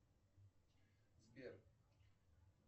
сбер